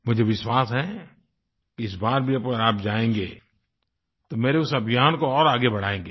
मुझे विश्वास है कि इस बार भी अगर आप जायेंगे तो मेरे उस अभियान को और आगे बढ़ायेंगे